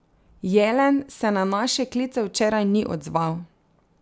Jelen se na naše klice včeraj ni odzval.